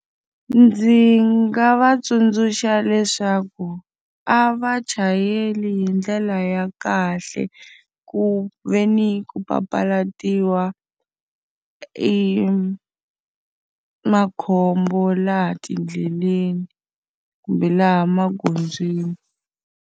Ndzi nga va tsundzuxa leswaku a va chayeli hi ndlela ya kahle, ku ve ni ku papalatiwa makhombo laha tiendleleni kumbe laha magondzweni.